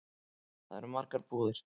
Þar eru margar búðir.